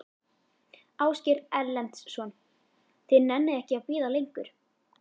Ásgeir Erlendsson: Þið nennið ekki að bíða lengur?